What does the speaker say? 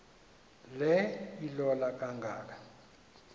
le ilola kangaka